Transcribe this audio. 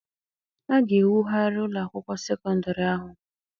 A ga-ewugharị ụlọ akwụkwọ sekọndịrị ahụ.